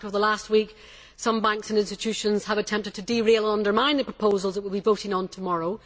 In fact, over the last week, some banks and institutions have attempted to derail and undermine the proposals that we will be voting on tomorrow.